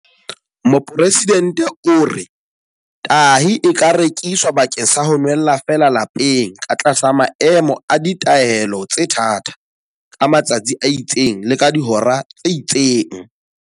Mopresidente o re, Tahi e ka rekiswa bakeng sa ho nwella feela lapeng ka tlasa maemo a ditaelo tse thata, ka matsatsi a itseng le ka dihora tse itseng.